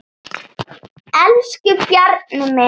Elsku Bjarni minn.